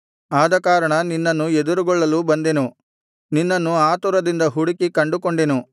ಆದಕಾರಣ ನಿನ್ನನ್ನು ಎದುರುಗೊಳ್ಳಲು ಬಂದೆನು ನಿನ್ನನ್ನು ಆತುರದಿಂದ ಹುಡುಕಿ ಕಂಡುಕೊಂಡೆನು